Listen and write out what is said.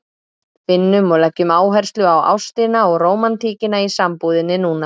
Finnum og leggjum áherslu á ástina og rómantíkina í sambúðinni núna!